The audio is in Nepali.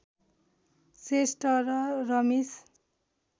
श्रेष्ठ र रमेश